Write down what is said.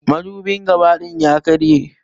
Madubin gabã din ya karya.